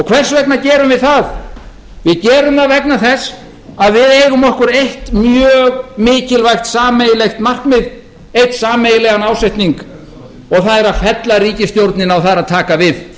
hvers vegna gerum við það við gerum það vegna þess að við eigum okkur eitt mjög mikilvægt sameiginlegt markmið sameiginlegan ásetning og það er að fella ríkisstjórnina og það er að taka við